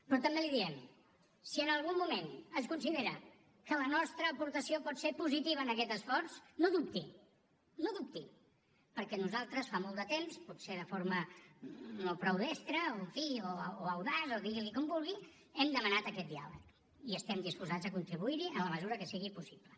però també li diem si en algun moment es considera que la nostra aportació pot ser positiva en aquest esforç no ho dubti no ho dubti perquè nosaltres fa molt de temps potser de forma no prou destra o en fi audaç o digui’n com vulgui hem demanat aquest diàleg i estem disposats a contribuir hi en la mesura que sigui possible